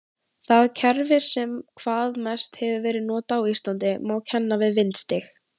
Það kerfi sem hvað mest hefur verið notað á Íslandi má kenna við vindstig.